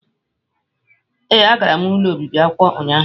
Ee, agara m ụlọ obibi akwụkwọ ụnyahụ